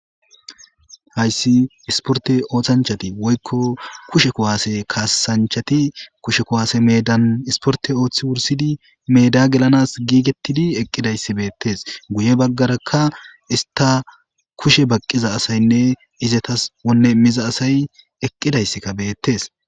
hayssi isporte ooththanchati woykko kushe kuwaase kaasanchati kushe kuwaase meedan isporte ooththi wursidi meda gelanas giigettidi eqqidayssi beettes guye baggarakka ista kushe baqqiza asaynne izetas wonne miza asay eqqidayssika beettes